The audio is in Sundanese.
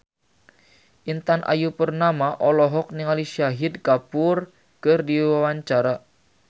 Intan Ayu Purnama olohok ningali Shahid Kapoor keur diwawancara